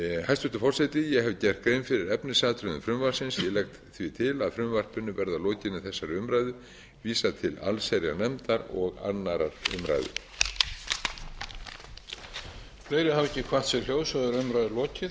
hæstvirtur forseti ég hef gert grein fyrir efnisatriðum frumvarpsins ég legg því til að frumvarpinu verði að lokinni þessari umræðu vísað til allsherjarnefndar og annarrar umræðu